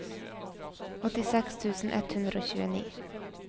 åttiseks tusen ett hundre og tjueni